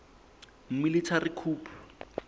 military coup